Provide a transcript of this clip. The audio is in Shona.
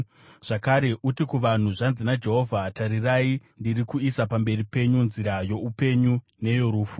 “Zvakare, uti kuvanhu, ‘Zvanzi naJehovha: Tarirai, ndiri kuisa pamberi penyu nzira youpenyu neyorufu.